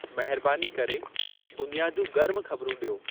महिरबानी करे दुनिया जूं गर्मु ख़बरूं ॾियो